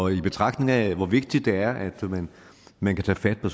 i betragtning af hvor vigtigt det er at man kan tage fat på